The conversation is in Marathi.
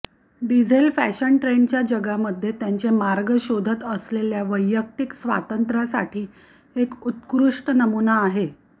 डिझेल फॅशन ट्रेंडच्या जगामध्ये त्यांचे मार्ग शोधत असलेल्या वैयक्तिक स्वातंत्र्यांसाठी एक उत्कृष्ट नमुना आहे